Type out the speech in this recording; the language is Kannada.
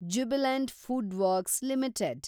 Jubilant Foodworks limited